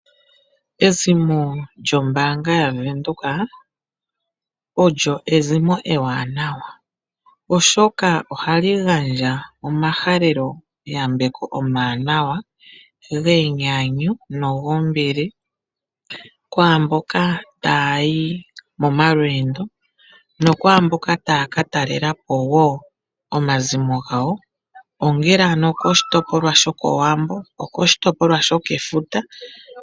Ezimo lyombaanga yaVenduka olyo ezimo ewanawa, oshoka ohali gandja omahaleloyambeko omawanawa genyanyu nogombili kwaamboka ta ya yi momalweendo nokwaamboka taya ka talela po wo omazimo gawo ongele okoshitopolwa shokOwambo nenge okoshitopolwa shokefuta.